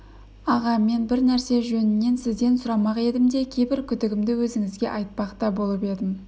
аға мен бір нәрсе жөнінен сізден сұрамақ едім де кейбір күдігімді өзіңізге айтпақ та болып едім